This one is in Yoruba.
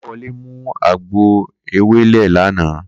Kolawole mú àgbó éwélé làná